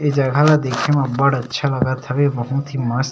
इ जगह ला देखे में बढ़ अच्छा लागत हवे बहुत ही मस्त --